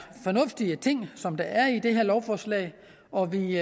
fornuftige ting som der er i det her lovforslag og vi